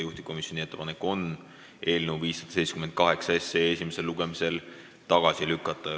Juhtivkomisjoni ettepanek on eelnõu 578 esimesel lugemisel tagasi lükata.